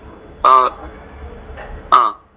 ആഹ് അഹ്